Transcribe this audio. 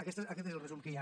aquest és el resum que hi ha